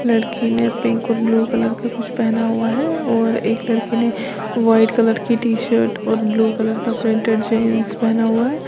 लड़की ने पिंक और ब्लू कलर का कुछ पहना हुआ है और एक लड़की ने व्हाइट कलर की टीशर्ट और ब्लू कलर का प्रिंटेड जींस पहना हुआ है।